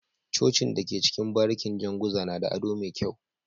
Cocin da ke cikin barikin janguza nada ado me kyau